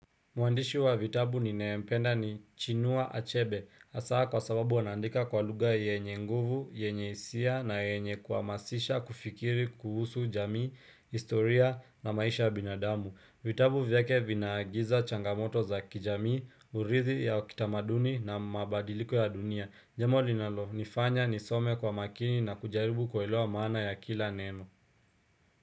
Muandishi wa vitabu ni nayempenda ni chinua achebe. Hasaa kwa sababu anaandika kwa lugha yenye nguvu, yenye isia na yenye kuamasisha, kufikiri, kuhusu jamii, historia na maisha binadamu. Vitabu vyake vinaagiza changamoto za kijamii, urithi ya kitamaduni na mabadiliko ya dunia. Jambo linalo, nifanya, nisome kwa makini na kujaribu kuelewa maana ya kila neno.